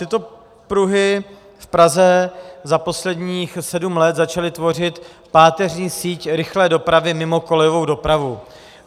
Tyto pruhy v Praze za posledních sedm let začaly tvořit páteřní síť rychlé dopravy mimo kolejovou dopravu.